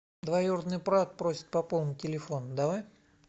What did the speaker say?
двоюродный брат просит пополнить телефон давай